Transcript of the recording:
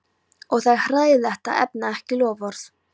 Og það er hræðilegt að efna ekki loforð.